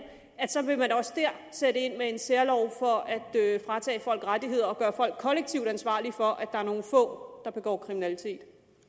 vil man også dér sætte ind med en særlov for at fratage folk rettigheder og gøre folk kollektivt ansvarlige for at der er nogle få der begår kriminalitet